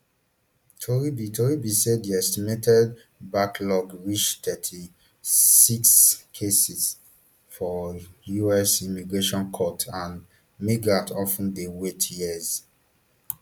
tori be tori be say di estimated backlog reach thirty-sixm cases for us immigration courts and migrants of ten dey wait years